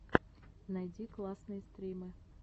найди классные стримы